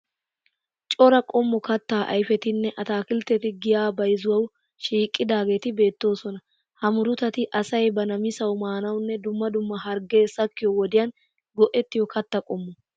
Cora qommo kattaa ayifetinne ataakiltteti giyaa bayizuwawu shiiqidaageeti beettoosona. Ha murutati asay ba namisawu maanawunne dumma harggee sakkiyo wodiyan go'ettiyo katta qommo.